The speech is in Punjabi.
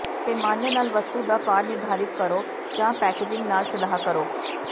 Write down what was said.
ਪੈਮਾਨੇ ਨਾਲ ਵਸਤੂ ਦਾ ਭਾਰ ਨਿਰਧਾਰਤ ਕਰੋ ਜਾਂ ਪੈਕੇਜਿੰਗ ਨਾਲ ਸਲਾਹ ਕਰੋ